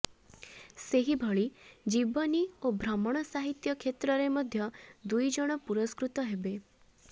ସେହିଭଳି ଜୀବନୀ ଓ ଭ୍ରମଣ ସାହିତ୍ୟ କ୍ଷେତ୍ରରେ ମଧ୍ୟ ଦୁଇ ଜଣ ପୁରସ୍କୃତ ହେବେ